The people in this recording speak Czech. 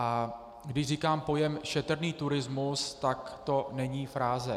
A když říkám pojem "šetrný turismus", tak to není fráze.